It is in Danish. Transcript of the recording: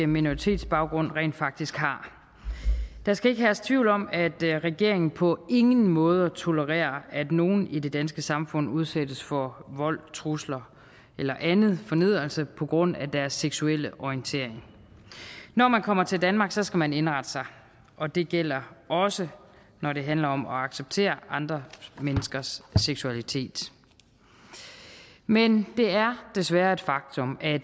minoritetsbaggrund rent faktisk har der skal ikke herske tvivl om at regeringen på ingen måde tolererer at nogen i det danske samfund udsættes for vold trusler eller anden fornedrelse på grund af deres seksuelle orientering når man kommer til danmarks skal man indrette sig og det gælder også når det handler om at acceptere andre menneskers seksualitet men det er desværre et faktum at